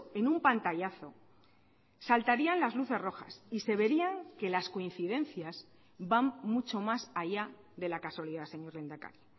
en un pantallazo saltarían las luces rojas y se verían que las coincidencias van mucho más allá de la casualidad señor lehendakari